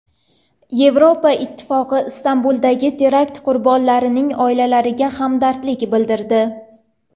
Yevropa Ittifoqi Istanbuldagi terakt qurbonlarining oilalariga hamdardlik bildirdi.